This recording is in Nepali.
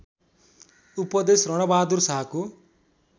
उपदेश रणबहादुर शाहको